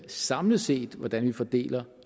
samlet set hvordan vi fordeler